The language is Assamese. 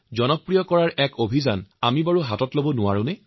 মোৰ শ্ৰ্দ্বাৰ দেশবাসী মই যোগৰ শিক্ষক নহয়